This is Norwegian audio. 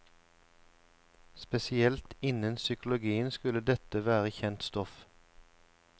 Spesielt innen psykologien skulle dette være kjent stoff.